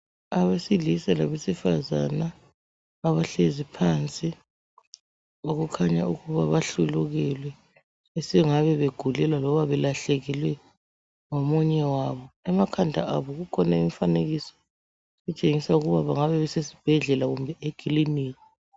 Abesilisa labesifazana, abahlezi phansi. Okukhanya ukuba bahlulukelwe. Besengabe begulelwa kumbe belahlekelwe ngomunye wabo Emakhanda abo kukhona imifanekiso kutshengisa ukuba bangabe besesibhedlela kumbe ekilinika.